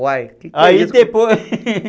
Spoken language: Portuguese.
Uai, o que é isso? Aí depois,